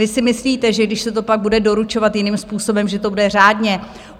Vy si myslíte, že když se to pak bude doručovat jiným způsobem, že to bude řádně?